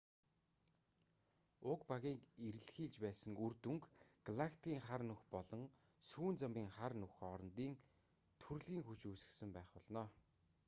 уг багийн эрэлхийлж байсан үр дүнг галактикийн хар нүх болон сүүн замын хар нүх хоорондын түрлэгийн хүч үүсгэсэн байх болно